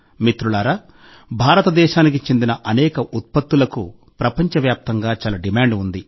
మిత్రులారా భారతదేశానికి చెందిన అనేక ఉత్పత్తులకు ప్రపంచవ్యాప్తంగా చాలా డిమాండ్ ఉంది